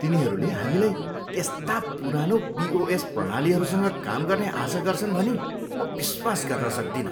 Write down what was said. तिनीहरूले हामीलाई त्यस्ता पुरानो पिओएस प्रणालीहरूसँग काम गर्ने आशा गर्छन् भनी म विश्वास गर्न सक्दिन।